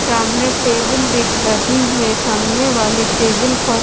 सामने टेबल दिख रही है सामने वाली टेबल पर--